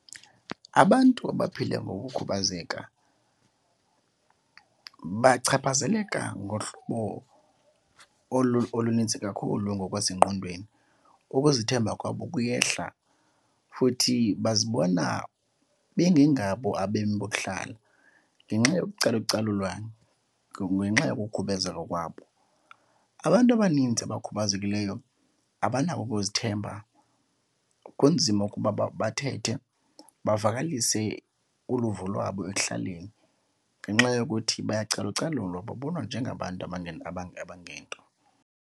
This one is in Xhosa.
Abantu abaphila ngokukhubazeka bachaphazeleka ngohlobo olunintsi kakhulu ngokwasengqondweni. Ukuzithemba kwabo kuyehla futhi bazibona bengengabo abemi bokuhlala ngenxa yokucalucalulwa ngenxa yokukhubazeka kokwabo. Abantu abaninzi abakhubazekileyo abanako ukuzithemba, kunzima ukuba bathethe bavakalise uluvo lwabo ekuhlaleni ngenxa yokuthi bayacalucalulwa, babonwa njengabantu abangento.